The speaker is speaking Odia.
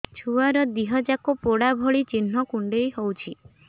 ଛୁଆର ଦିହ ଯାକ ପୋଡା ଭଳି ଚି଼ହ୍ନ କୁଣ୍ଡେଇ ହଉଛି